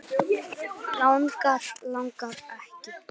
Langar, langar ekki.